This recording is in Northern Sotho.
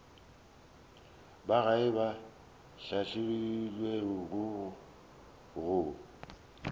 ba gae ba hlahlilwego go